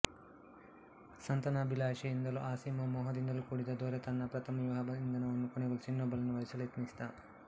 ಸಂತಾನಾಭಿಲಾಷೆಯಿಂದಲೂ ಅಸೀಮ ಮೋಹದಿಂದಲೂ ಕೂಡಿದ್ದ ದೊರೆ ತನ್ನ ಪ್ರಥಮ ವಿವಾಹ ಬಂಧನವನ್ನು ಕೊನೆಗೊಳಿಸಿ ಇನ್ನೊಬ್ಬಳನ್ನು ವರಿಸಲೆತ್ನಿಸಿದ